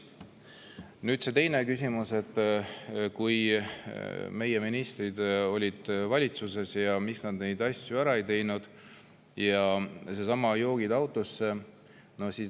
Nüüd see teine küsimus, et kui meie ministrid olid valitsuses, miks nad siis neid asju ära ei teinud, ja seesama "joogid autosse".